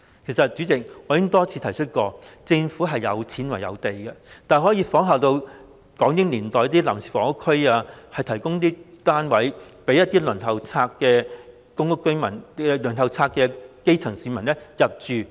主席，其實我已多次提出，政府有錢、有土地，大可仿效港英年代設立臨時房屋區，提供單位予公屋輪候冊上的基層市民入住。